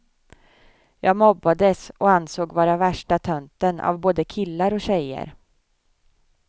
Jag mobbades och ansågs vara värsta tönten av både killar och tjejer.